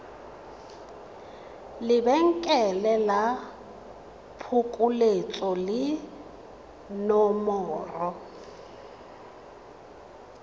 lebenkele la phokoletso le nomoro